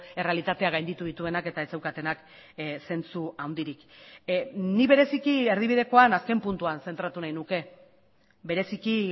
errealitatea gainditu dituenak eta ez zeukatenak zentzu handirik ni bereziki erdibidekoan azken puntuan zentratu nahi nuke bereziki